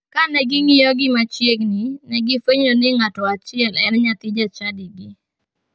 Kane ging'iyogi machiegini, ne gifwenyo ni ng'ato achiel en nyathi jachadigi.